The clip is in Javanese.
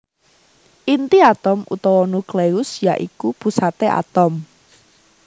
Inti atom utawa nukleus ya iku pusaté atom